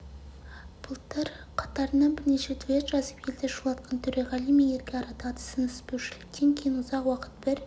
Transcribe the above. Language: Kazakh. былтыр қатарынан бірнеше дуэт жазып елді шулатқан төреғали мен ерке арадағы түсініспеушіліктен кейін ұзақ уақыт бір